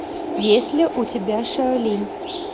есть ли у тебя шаолинь